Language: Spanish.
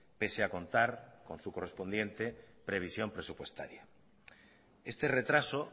pese a contar con su correspondiente previsión presupuestaria este retraso